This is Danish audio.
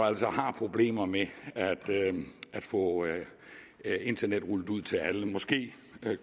altså har problemer med at få internettet rullet ud til alle måske